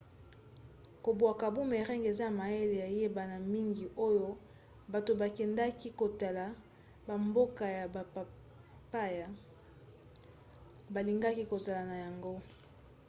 kobwaka boomerang eza mayele eyebana mingi oyo bato bakendaka kotala bamboka ya bapaya balingaka kozala na yango